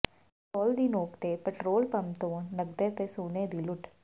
ਪਿਸਤੌਲ ਦੀ ਨੋਕ ਤੇ ਪਿਟਰੋਲ ਪੰਪ ਤੋਂ ਨਕਦੀ ਤੇ ਸੋਨੇ ਦੀ ਲੁੱਟ